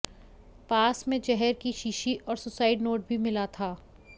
पास में जहर की शीशी और सुसाइड नोट भी मिला था